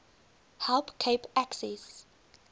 help cape access